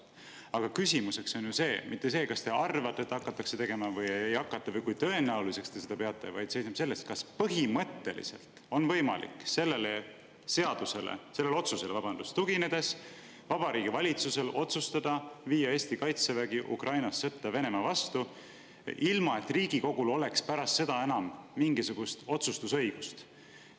Aga küsimus ei ole ju selles, kas te arvate, et hakatakse tegema või ei hakata või kui tõenäoliseks te seda peate, vaid küsimus on selles, kas põhimõtteliselt on Vabariigi Valitsusel võimalik sellele otsusele tuginedes viia Eesti Kaitsevägi Ukrainasse sõtta Venemaa vastu ilma, et Riigikogul oleks pärast seda enam mingisugust otsustusõigust.